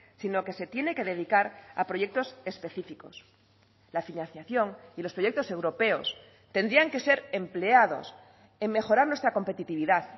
sino que se tiene que dedicar a proyectos específicos la financiación y los proyectos europeos tendrían que ser empleados en mejorar nuestra competitividad